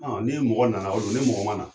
Ɔ ni ye mɔgɔ nana o don ni mɔgɔ mana